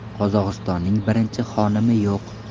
Qozog‘istonning birinchi xonimi yo‘q.